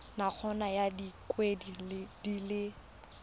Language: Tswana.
nakong ya dikgwedi di le